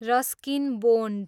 Ruskin bond